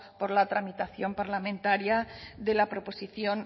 por la tramitación parlamentaria de la proposición